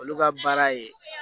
Olu ka baara ye